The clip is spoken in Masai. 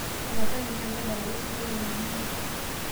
tapasali nyaaki tadalayu osinkolio le nonini